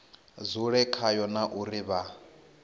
dzule khayo na uri vha